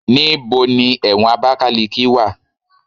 Níbo ni ẹ̀wọ̀n Abakaliki wà?